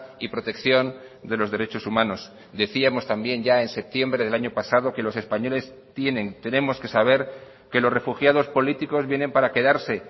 y protección de los derechos humanos decíamos también ya en septiembre del año pasado que los españoles tienen tenemos que saber que los refugiados políticos vienen para quedarse